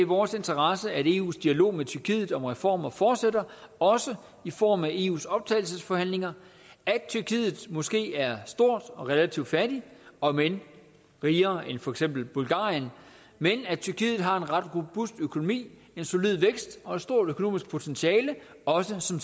vores interesse at eus dialog med tyrkiet om reformer fortsætter også i form af eus optagelsesforhandlinger at tyrkiet måske er stort og relativt fattigt om end rigere end for eksempel bulgarien men at tyrkiet har en ret robust økonomi en solid vækst og et stort økonomisk potentiale også som